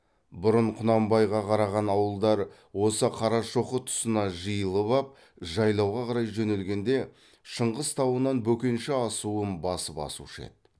бұрын құнанбайға қараған ауылдар осы қарашоқы тұсына жиылып ап жайлауға қарай жөнелгенде шыңғыс тауынан бөкенші асуын басып асушы еді